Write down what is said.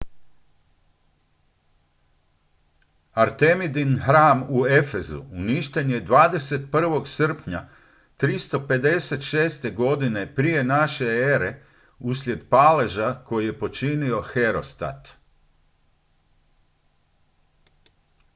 artemidin hram u efezu uništen je 21. srpnja 356. godine p.n.e. uslijed paleža koji je počinio herostat